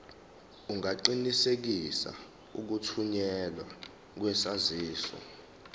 ungaqinisekisa ukuthunyelwa kwesaziso